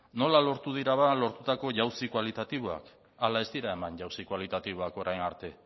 nola lortu dira lortutako jauzi kualitatiboak ala ez dira eman jauzi kualitatiboak orain arte